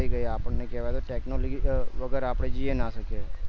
થઇ ગયા આપણેકેવાય છે કે technology વગર આપણે જીવી પણ ના શકીએ